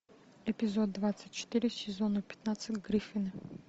эпизод двадцать четыре сезона пятнадцать гриффины